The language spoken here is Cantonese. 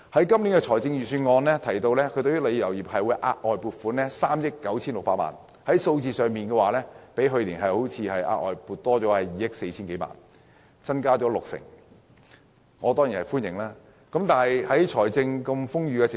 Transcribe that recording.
今年的財政預算案建議為旅遊業額外撥款3億 9,600 萬元，比去年的額外撥款增加2億 4,000 多萬元，即六成左右，我當然表示歡迎。